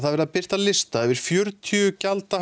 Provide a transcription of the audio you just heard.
verið að birta lista yfir fjörutíu